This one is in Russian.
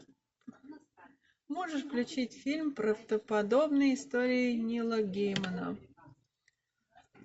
можешь включить фильм правдоподобные истории нила геймана